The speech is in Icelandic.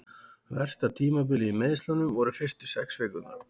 Versta tímabilið í meiðslunum voru fyrstu sex vikurnar.